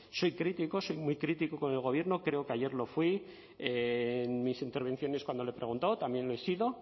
soy crítico soy muy crítico con el gobierno creo que ayer lo fui en mis intervenciones cuando le he preguntado también lo he sido